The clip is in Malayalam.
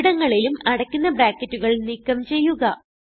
ഇവിടങ്ങളിലും അടയ്ക്കുന്ന ബ്രാക്കറ്റുകൾ നീക്കം ചെയ്യുക